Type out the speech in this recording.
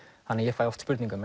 þannig að ég fæ oft spurningar